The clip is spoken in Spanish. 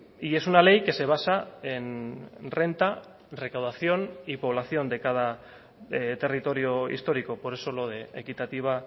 y es una ley que se basa en renta recaudación y población de cada territorio histórico por eso lo de equitativa